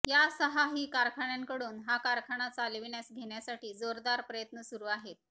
या सहा ही कारखान्यांकडून हा कारखाना चालविण्यास घेण्यासाठी जोरदार प्रयत्न सुरू आहेत